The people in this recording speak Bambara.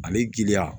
Ani giriya